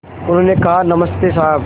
उन्होंने कहा नमस्ते साहब